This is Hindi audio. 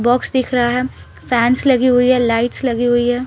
बॉक्स दिख रहा है फैनस लगी हुई है लाइटस लगी हुई है --